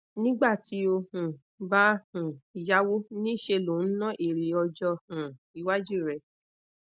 nigbati o um ba um yawo ni se lo nna ere ojo um iwaju re